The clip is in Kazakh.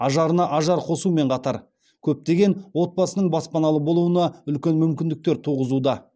ажарына ажар қосумен қатар көптеген отбасының баспаналы болуына үлкен мүмкіндіктер туғызуда